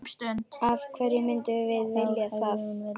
Af hverju myndum við vilja það?